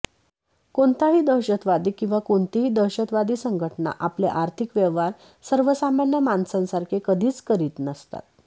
कोणताही दहशतवादी किंवा कोणतीही दहशतवादी संघटना आपले आर्थिक व्यवहार सर्वसामान्य माणसांसारखे कधीच करीत नसतात